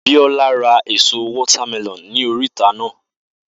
Biola ra ẹ̀so water melon ní oríta naa